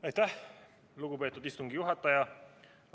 Aitäh, lugupeetud istungi juhataja!